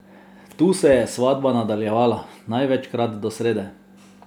Tu se je svatba nadaljevala, največkrat do srede.